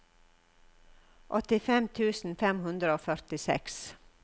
åttifem tusen fem hundre og førtiseks